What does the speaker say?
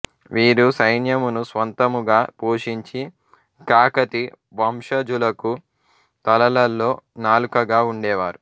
వీరు సైన్యమును స్వంతముగా పోషించి కాకతి వంశజులకు తలలో నాలుకగా ఉండేవారు